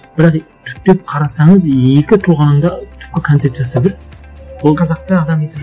бірақ түптеп қарасаңыз екі тұлғаның да түпкі концепциясы бір ол қазақты адам ету